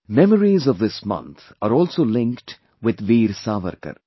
Memories of this month are also linked with Veer Savarkar